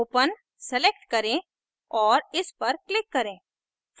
open select करें और इस पर click करें